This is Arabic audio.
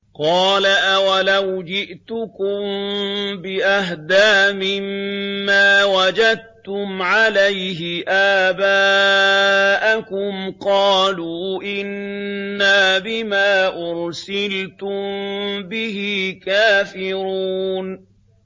۞ قَالَ أَوَلَوْ جِئْتُكُم بِأَهْدَىٰ مِمَّا وَجَدتُّمْ عَلَيْهِ آبَاءَكُمْ ۖ قَالُوا إِنَّا بِمَا أُرْسِلْتُم بِهِ كَافِرُونَ